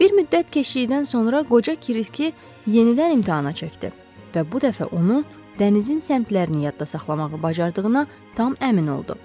Bir müddət keçdikdən sonra qoca Kiriski yenidən imtahana çəkdi və bu dəfə onu dənizin səmtlərini yadda saxlamağı bacardığına tam əmin oldu.